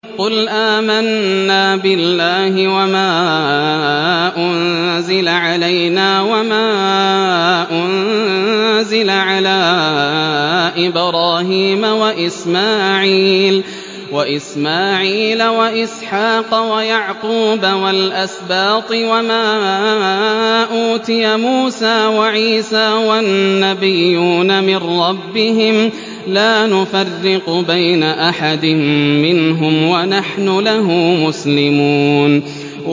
قُلْ آمَنَّا بِاللَّهِ وَمَا أُنزِلَ عَلَيْنَا وَمَا أُنزِلَ عَلَىٰ إِبْرَاهِيمَ وَإِسْمَاعِيلَ وَإِسْحَاقَ وَيَعْقُوبَ وَالْأَسْبَاطِ وَمَا أُوتِيَ مُوسَىٰ وَعِيسَىٰ وَالنَّبِيُّونَ مِن رَّبِّهِمْ لَا نُفَرِّقُ بَيْنَ أَحَدٍ مِّنْهُمْ وَنَحْنُ لَهُ مُسْلِمُونَ